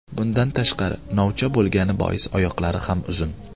Bundan tashqari, novcha bo‘lgani bois oyoqlari ham uzun.